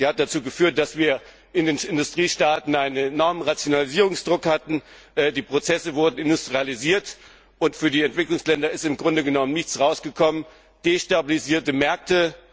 Sie hat dazu geführt, dass wir in den Industriestaaten einen enormen Rationalisierungsdruck hatten. Die Prozesse wurden industrialisiert, und für die Entwicklungsländer ist im Grunde genommen nichts dabei herausgekommen als destabilisierte Märkte.